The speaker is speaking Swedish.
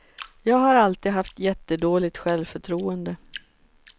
Jag har alltid haft jättedåligt självförtroende.